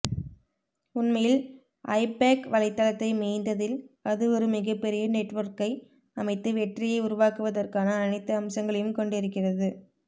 உண்மையில் ஐபேக் வலைதளத்தை மேய்ந்ததில் அதுவொரு மிகப்பெரிய நெட் ஒர்க்கை அமைத்து வெற்றியை உருவாக்குவதற்கான அனைத்து அம்சங்களையும் கொண்டிருக்கிறது